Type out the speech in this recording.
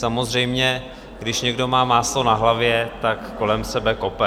Samozřejmě, když někdo má máslo na hlavě, tak kolem sebe kope.